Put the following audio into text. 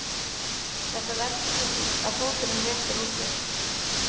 Þetta veldur svo því að fóturinn réttir úr sér.